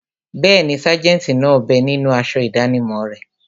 Bẹ́ẹ̀ni, sájẹ̀ntì náà bẹ ninú aṣọ ìdánimọ̀ rẹ̀